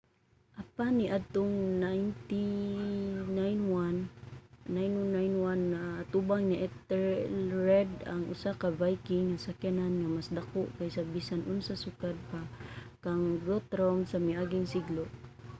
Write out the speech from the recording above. apan niadtong 991 naatubang ni ethelred ang usa ka viking nga sakyanan nga mas dako kaysa bisan unsa sukad pa kang guthrum sa miaging siglo